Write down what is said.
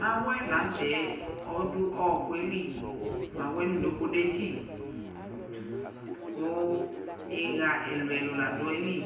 mawɛ lanʋtɛɛ ɔdʋ ɔkʋɛli mawɛ nʋ ʋnoko detsi kʋ iha ɛlʋɛlʋ ladu ayili